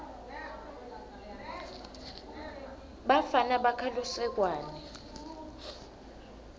bafana bakha lusekwane